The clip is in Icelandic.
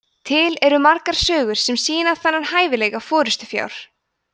til eru margar sögur sem sýna þennan hæfileika forystufjár